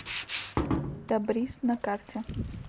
табрис на карте